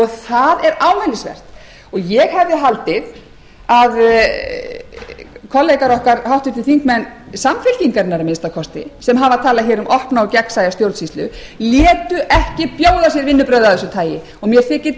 ámælisvert ég hafði haldið að kollegar okkar háttvirtir þingmenn samfylkingarinnar að minnsta kosti sem hafa talað um opna og gegnsæja stjórnsýslu létu ekki bjóða sér vinnubrögð af þessu tagi og mér þykir